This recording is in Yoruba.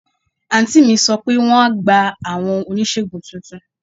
Àǹtí mi sọ pé wọ́n á gba àwọn oníṣègùn tuntun.